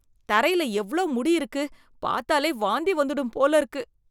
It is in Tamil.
தரையில எவ்ளோ முடி இருக்கு. பாத்தாலே வாந்தி வந்துடும் போல இருக்கு.